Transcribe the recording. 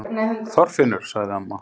ÞORFINNUR! sagði amma.